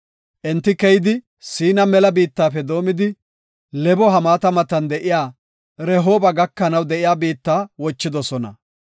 Enti keyidi Siina mela biittafe doomidi, Lebo-Hamaata matan de7iya Rehooba gakanaw de7iya biitta wochidosona.